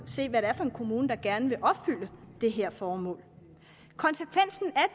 se hvad det er for en kommune der gerne vil opfylde det her formål konsekvensen af